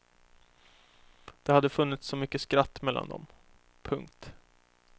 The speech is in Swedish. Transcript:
Det hade funnits så mycket skratt mellan dem. punkt